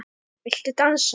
Viltu dansa?